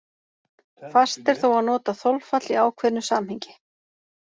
Fast er þó að nota þolfall í ákveðnu samhengi.